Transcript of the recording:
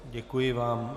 Děkuji vám.